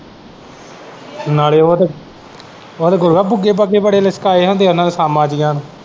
ਨਾਲੇ ਉਹ ਤੇ ਉਹ ਤੇ ਗੁਰੂਆ ਬੁੱਗੇ ਬਾਗੇ ਬੜੇ ਲਿਸਕਾਏ ਹੁੰਦੇ ਉਹਨਾਂ ਨੇ ਸਾਮਾਂ ਜਿਹੀਆਂ ਨੂੰ।